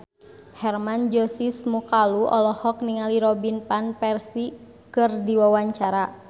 Hermann Josis Mokalu olohok ningali Robin Van Persie keur diwawancara